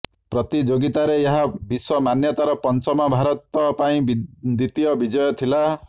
ପ୍ରତିଯୋଗିତାରେ ଏହା ବିଶ୍ବ ମାନ୍ୟତାର ପଞ୍ଚମ ଭାରତ ପାଇଁ ଦ୍ବିତୀୟ ବିଜୟ ଥିଲା